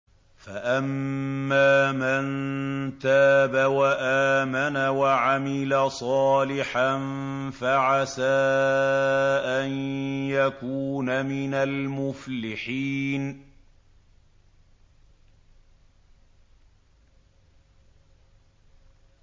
فَأَمَّا مَن تَابَ وَآمَنَ وَعَمِلَ صَالِحًا فَعَسَىٰ أَن يَكُونَ مِنَ الْمُفْلِحِينَ